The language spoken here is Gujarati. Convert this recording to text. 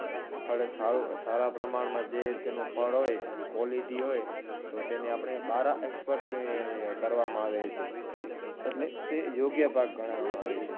ફળ સારો સારા પ્રમાણમાં જે તેનો ફળ હોય, quality હોય, તો તેને આપણે બારે export ને કરવામાં આવે છે. એટલે તે યોગ્ય પાક ગણવામાં આવે છે.